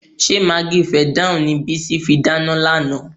Ṣé magí fẹ̀dáànì ni Bísí fi dáná lánàá?